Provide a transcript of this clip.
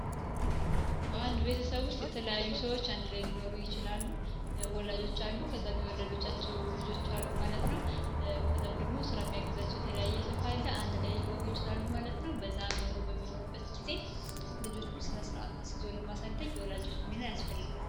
በአንድ ቤተሰቦች የተለያዩ ሰዎች አንድ ላይ ሊኖሩ ይችላሉ ወላጆች አሉ ከዛም የወለደቻቸው ልጆች አሉ ማለት ነው የተለያየ ሰው ጊዜ ለማሳደግ የወላጆች ሚና ያስፈልጋል